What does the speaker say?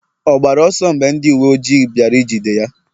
ọ gbara ọsọ mgbe ndị uwe ojii bịara ijide ya?